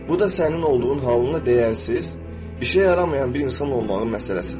Bu da sənin olduğun halında dəyərsiz, işə yaramayan bir insan olmağın məsələsidir.